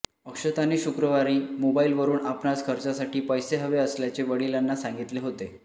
अक्षताने शुक्रवारी मोबाइलवरून आपणास खर्चासाठी पैसे हवे असल्याचे वडिलांना सांगितले होते